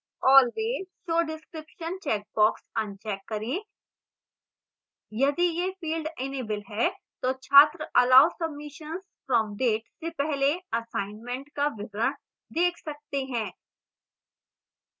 always show description checkbox uncheck करें यदि यह field इनेबल है तो छात्र allow submissions from date से पहले assignment का विवरण देख सकते है